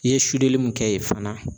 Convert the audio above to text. I ye limun kɛ yen fana